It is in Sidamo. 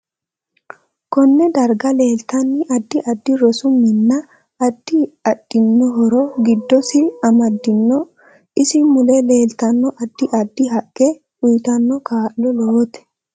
KOnne darga leeltano addi addi rosu minna addi addihoro giddosi amadinno isi mule leeltanno addi addi haqqe uytanno kaa'lo lowote